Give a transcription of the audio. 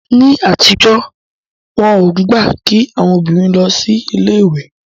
Ní àtijọ́, wọn ò gbà kí àwọn obìnrin lọ sí ilé ìwé